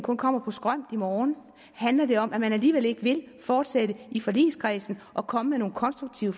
kun kommer på skrømt i morgen handler det om at man alligevel ikke vil fortsætte i forligskredsen og komme med nogle konstruktive